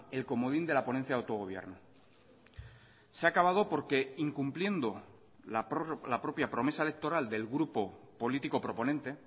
el comodín de la ponencia de autogobierno se ha acabado porque incumpliendo la propia promesa electoral del grupo político proponente